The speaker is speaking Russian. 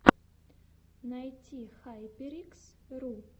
найти хайперикс ру